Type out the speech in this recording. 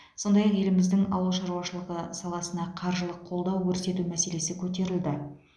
сондай ақ еліміздің ауыл шаруашылығы саласына қаржылық қолдау көрсету мәселесі көтерілді